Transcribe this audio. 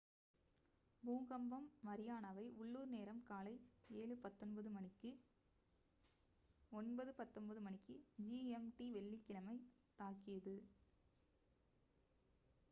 பூகம்பம் மரியானாவை உள்ளூர் நேரம் காலை 07:19 a.m. மணிக்கு 09:19 மணிக்கு gmt வெள்ளிக்கிழமை தாக்கியது